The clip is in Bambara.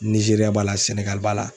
Nizeriya b'a la Sɛnɛgali b'a la